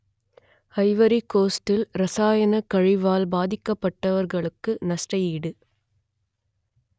Ivory கோஸ்டில் ரசாயனக் கழிவால் பாதிக்கப்பட்டவர்களுக்கு நஷ்ட ஈடு